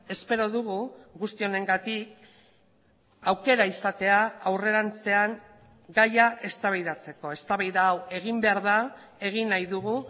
espero dugu guzti honengatik aukera izatea aurrerantzean gaia eztabaidatzeko eztabaida hau egin behar da egin nahi dugu